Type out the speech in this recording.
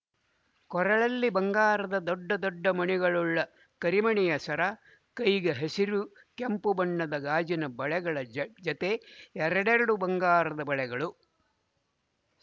ಕೊರಳಲ್ಲಿ ಬಂಗಾರದ ದೊಡ್ಡ ದೊಡ್ಡ ಮಣಿಗಳುಳ್ಳ ಕರಿಮಣಿಯ ಸರ ಕೈಗೆ ಹಸಿರು ಕೆಂಪು ಬಣ್ಣದ ಗಾಜಿನ ಬಳೆಗಳ ಜತೆ ಎರಡೆರಡು ಬಂಗಾರದ ಬಳೆಗಳು